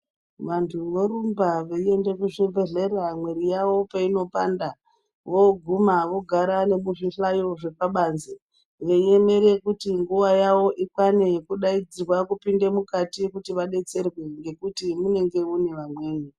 Vantu vorumba veiende kuzvibhedhleya mwiri yawo peinopanda voguma vogara nokuzvihlayo zvepabanze veiemere kuti nguwa yawo ikwane yokudaidzirwa kupinde mukati kuti vadetserwe ngokuti munenge mune vamweni.